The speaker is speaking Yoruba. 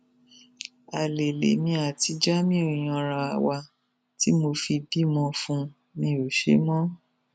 alẹ lèmi àti jamiu yanra wa tí mo fi bímọ fún un mi ò ṣe mọ